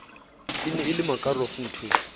ne e le makaroff nthwe